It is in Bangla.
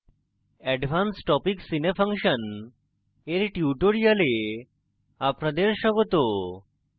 advance topics in a function dear tutorial আপনাদের স্বাগত